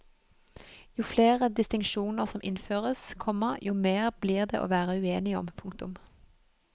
Jo flere distinksjoner som innføres, komma jo mer blir det å være uenig om. punktum